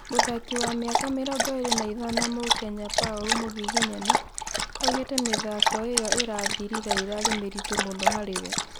mũthaki wa mĩaka mĩrongo ĩrĩ na ithano mũkenya Paulu Mugiginyani, aũgĩte mĩthako ĩyo ĩrathirire ĩrarĩ mĩritu mũno harĩ we